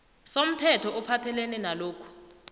somthetho ophathelene nalokhu